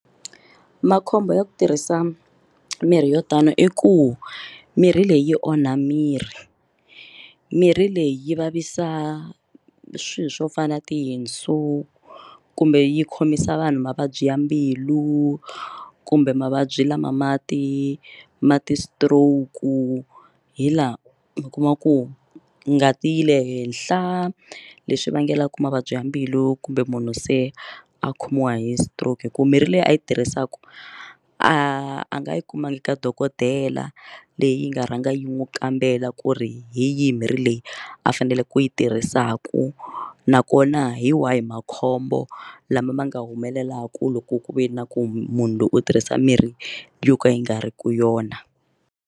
Makhombo ya ku tirhisa mirhi yo tani i ku mirhi leyi onha miri mirhi leyi yi vavisa swilo swo fana na tindzimu kumbe yi khomisa vanhu mavabyi ya mbilu kumbe mavabyi lama mati mati stroke hi laha mi kuma ku ngati yi le henhla leswi vangelaka mavabyi ya mbilu kumbe munhu se a khomiwa hi stroke hi ku mirhi leyi a yi tirhisaku a nga yi kumanga ka dokodela leyi nga rhanga yi n'wi kambela ku ri hi yihi mirhi leyi a fanele ku u yi tirhisaka nakona hi wahi makhombo lama ma nga humelelaka loko ku ve na ku munhu loyi u tirhisa mirhi yo ka yi nga ri ki yona.